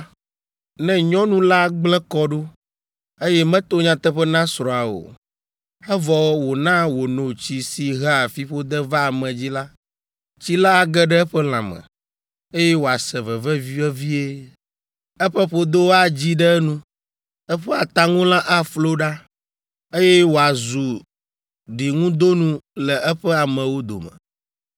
Ne nyɔnu la gblẽ kɔ ɖo, eye meto nyateƒe na srɔ̃a o, evɔ wona wòno tsi si hea fiƒode vaa ame dzi la, tsi la age ɖe eƒe lãme, eye wòase veve vevie. Eƒe ƒodo adzi ɖe enu, eƒe ataŋulã aflo ɖa, eye wòazu ɖiŋudonu le eƒe amewo dome.